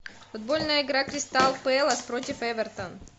футбольная игра кристал пэлас против эвертон